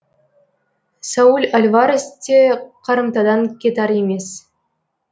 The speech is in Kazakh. сауль альварес те қарымтадан кетар емес